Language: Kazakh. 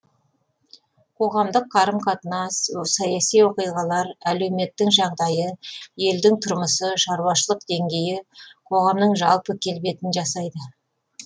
қоғамдық қарым қатынас саяси оқиғалар әлеуметтің жағдайы елдің тұрмысы шаруашылық деңгейі қоғамның жалпы келбетін жасайды